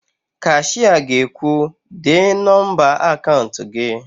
Kashịa ga-ekwu, "dee nọmba akaụnt gị"!